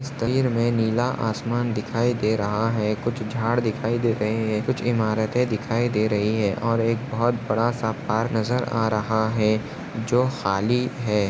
तस्वीर में नीला आसमान दिखाई दे रहा है कुछ झाड दिखाई दे रहे है कुछ इमारते दिखाई दे रही है और एक बहुत बड़ा सा पार्क नजर आ रहा है जो खाली है।